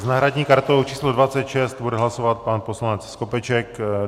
S náhradní kartou číslo 26 bude hlasovat pan poslanec Skopeček.